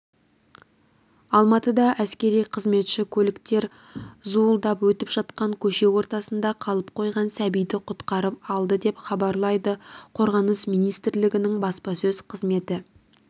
алматыда әскери қызметші көліктер зуылдап өтіп жатқан көше ортасында қалып қойған сәбиді құтқарып алды деп хабарлайды қорғаныс министрлігінің баспасөз қызметі